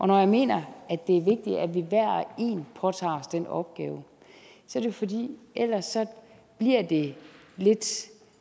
når jeg mener at det er vigtigt at vi hver og en påtager os den opgave er det fordi ellers bliver det lidt